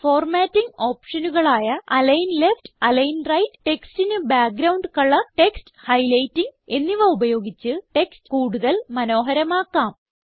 formatting ഓപ്ഷനുകളായ align left align right ടെക്സ്റ്റിന് background colour text highlighting എന്നിവ ഉപയോഗിച്ച് ടെക്സ്റ്റ് കൂടുതൽ മനോഹരമാക്കാം